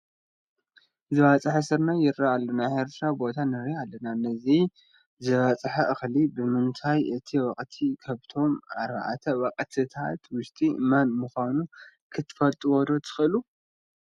ዝባፅሐ ስርናይ ዝርአየሉ ናይ ሕርሻ ቦታ ንርኢ ኣለና፡፡ ነዚ ዝባፅሐ እኽሊ ብምርኣይ እቲ ወቕቲ ካብቶም ኣርባዕተ ወቕትታት ውሽጢ መን ምዃኑ ክትፈልጡ ዶ ትኽእሉ?